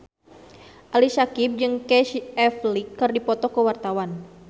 Ali Syakieb jeung Casey Affleck keur dipoto ku wartawan